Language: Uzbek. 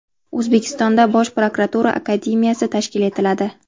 O‘zbekistonda Bosh prokuratura Akademiyasi tashkil etiladi.